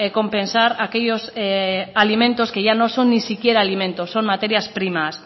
compensar aquellos alimentos que ya no son ni siquiera alimentos son materias primas